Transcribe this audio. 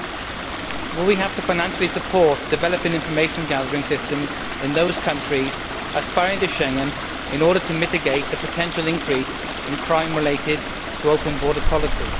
Will we have to provide financial support for developing information gathering systems in those countries aspiring to Schengen, in order to mitigate the potential increase in crime related to open border policy?